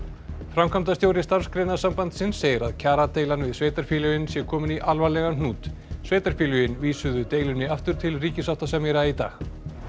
framkvæmdastjóri Starfsgreinasambandsins segir að kjaradeilan við sveitarfélögin sé komin í alvarlegan hnút sveitarfélögin vísuðu deilunni aftur til ríkissáttasemjara í dag